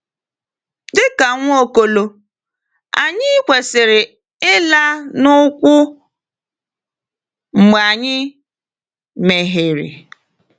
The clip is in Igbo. Dị ka Nwaokolo, anyị kwesịrị ịla n’ụkwụ mgbe anyị mehiere.